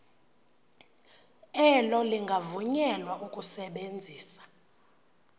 elo lingavunyelwa ukusebenzisa